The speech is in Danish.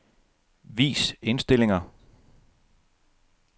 Vis indstillinger.